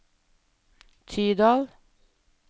Tydal